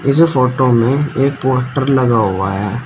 इस फोटो में एक पोस्टर लगा हुआ है।